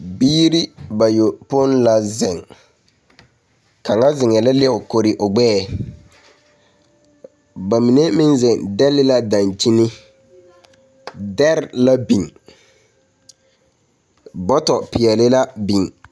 Biiri bayopoi la zeŋ, kaŋa zeŋɛɛ la leo kori o gbɛɛŋ. Ba mine meŋ zeŋ dɛle la dankyini. Dɛr la biŋ. Bɔtɔpeɛle la biŋ.